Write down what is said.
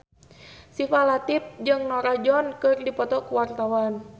Syifa Latief jeung Norah Jones keur dipoto ku wartawan